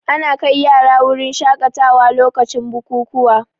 Ana kai yara wurin shaƙatawa lokacin bukukuwa